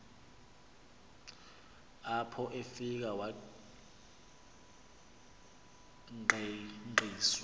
apho afike wangqengqiswa